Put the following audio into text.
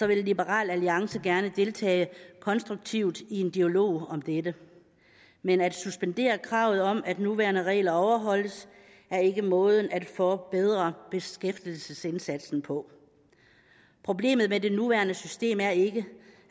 vil liberal alliance gerne deltage konstruktivt i en dialog om dette men at suspendere kravet om at nuværende regler overholdes er ikke måden at forbedre beskæftigelsesindsatsen på problemet med det nuværende system er ikke